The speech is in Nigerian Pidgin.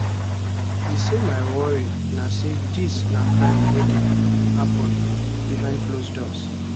e say my worry na say dis na crime wey dey happun behind close doors